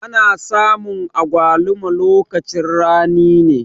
Ana samun agwaluma lokacin rani ne.